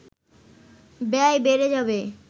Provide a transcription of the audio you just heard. ব্যয় বেড়ে যাবে